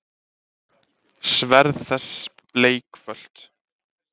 Sverð þess bleikfölt.